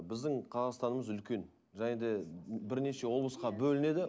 біздің қазақстанымыз үлкен және де бірнеше облысқа бөлінеді